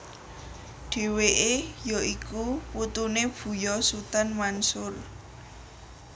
Dheweke ya iku putune Buya Sutan Mansur